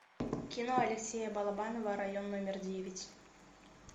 кино алексея балабанова район номер девять